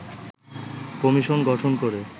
commission গঠন করে